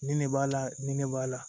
Nin ne b'a la nin ne b'a la